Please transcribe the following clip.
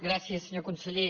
gràcies senyor conseller